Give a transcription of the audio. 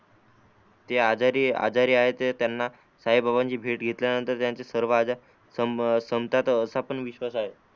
ते आजारी आहे त्यांना साई बाबांची भेट घेतल्या नंतर त्यांचे सर्व आजार संपतात असा पण विश्वास आहे.